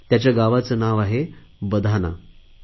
त्याच्या गावाचे नाव बधाना असे आहे